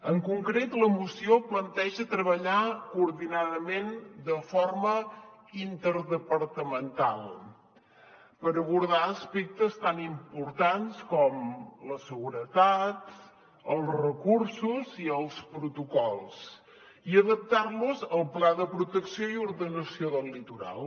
en concret la moció planteja treballar coordinadament de forma interdepartamental per abordar aspectes tan importants com la seguretat els recursos i els protocols i adaptar los al pla de protecció i ordenació del litoral